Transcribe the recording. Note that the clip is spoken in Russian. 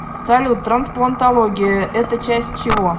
салют трансплантология это часть чего